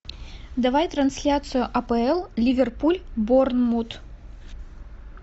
давай трансляцию апл ливерпуль борнмут